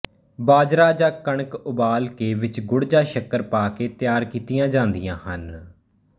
ਬਾਜਰਾ ਜਾਂ ਕਣਕ ਉਬਾਲ ਕੇ ਵਿਚ ਗੁੜ ਜਾਂ ਸ਼ੱਕਰ ਪਾ ਕੇ ਤਿਆਰ ਕੀਤੀਆਂ ਜਾਂਦੀਆਂ ਹਨ